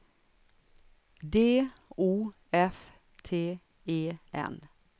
D O F T E N